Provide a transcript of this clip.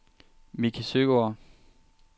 Mickey Søegaard